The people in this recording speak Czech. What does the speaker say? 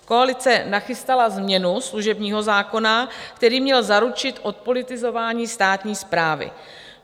Koalice nachystala změnu služebního zákona, který měl zaručit odpolitizování státní správy.